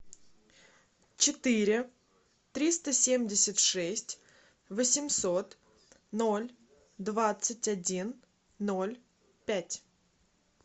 четыре триста семьдесят шесть восемьсот ноль двадцать один ноль пять